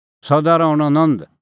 सदा रहणअ नंद